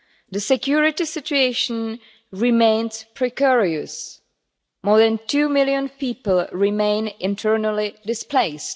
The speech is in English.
The security situation remains precarious. More than two million people remain internally displaced.